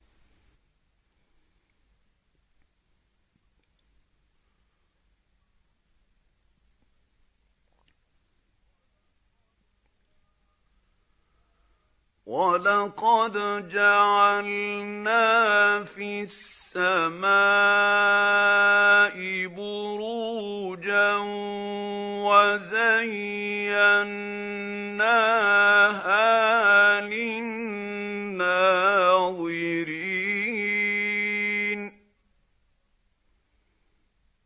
وَلَقَدْ جَعَلْنَا فِي السَّمَاءِ بُرُوجًا وَزَيَّنَّاهَا لِلنَّاظِرِينَ